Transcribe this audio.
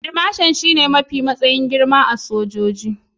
Field Marshal shine matsayi mafi girma a cikin sojojin Najeriya.